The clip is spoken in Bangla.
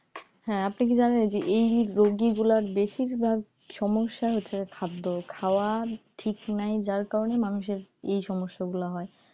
হ্যাঁ আপনি কি জানেন যে এই রোগী গুলার বেশিরভাগ সমস্যা হচ্ছে যে খাদ্য খাওয়া ঠিক নাই যার কারণে মানুষের এই সমস্যাগুলা হয়